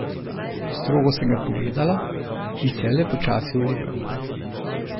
Strogo sem ga pogledala in se je le počasi ulegel.